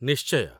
ନିଶ୍ଚୟ !